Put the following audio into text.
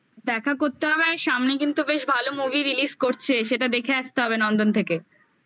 দেখা করতে হবে আর সামনে কিন্তু বেশ ভালো movie release করছে সেটা দেখে আসতে হবে নন্দন থেকে